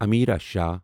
Amira Shah